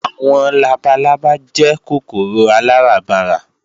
Àwọn labalábá jẹ́ kòkòrò aláràbarà